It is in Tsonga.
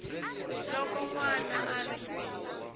loko n wana a ri